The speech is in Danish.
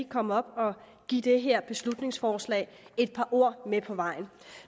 komme op og give det her beslutningsforslag et par ord med på vejen